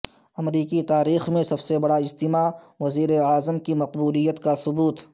امریکی تاریخ میں سب سے بڑا اجتماع وزیراعظم کی مقبولیت کا ثبوت